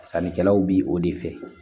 Sannikɛlaw bi o de fɛ